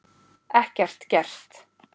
Ekkert gert?